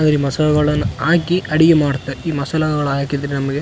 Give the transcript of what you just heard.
ಮಸಾಲಗಳನ್ನ ಹಾಕಿ ಅಡುಗೆ ಮಾಡುತ್ತೆ ಈ ಮಸಾಲಗಳನ್ನ ಹಾಕಿದ್ರೆ ನಮಿಗೆ.